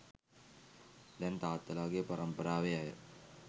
දැන් තාත්තලාගේ පරම්පාරාවේ අය